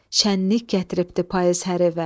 Şənlik gətiribdi payız hər evə.